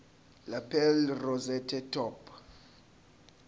lapel rosette top